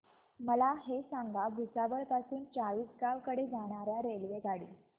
मला हे सांगा भुसावळ पासून चाळीसगाव कडे जाणार्या रेल्वेगाडी